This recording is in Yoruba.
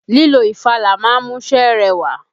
Lílo ìfalà ma ń múṣẹ́ rẹwà.